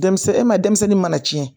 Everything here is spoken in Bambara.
Denmisɛnnin e ma denmisɛnnin mana tiɲɛ